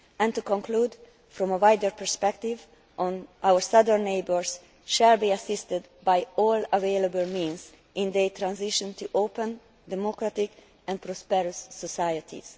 To conclude, from a wider perspective, our southern neighbours will be assisted by all available means in their transition to open, democratic and prosperous societies.